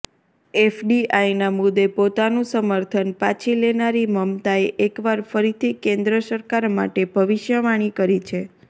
એફડીઆઇના મુદ્દે પોતાનું સમર્થન પાછી લેનારી મમતાએ એકવાર ફરીથી કેન્દ્ર સરકાર માટે ભવિષ્યવાણી કરી છે